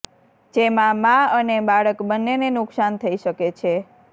જેમાં માં અને બાળક બંનેને નુકસાન થઈ શકે છે